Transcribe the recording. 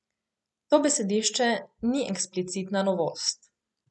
To besedišče ni eksplicitna novost.